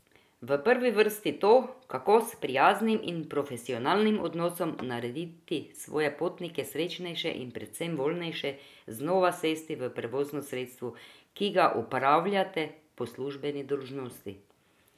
V prvi vrsti to, kako s prijaznim in profesionalnim odnosom narediti svoje potnike srečnejše in predvsem voljnejše znova sesti v prevozno sredstvo, ki ga upravljate po službeni dolžnosti.